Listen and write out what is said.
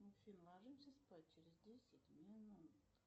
афина ложимся спать через десять минут